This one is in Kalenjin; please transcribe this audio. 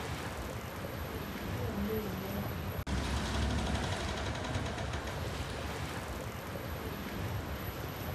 Iamune?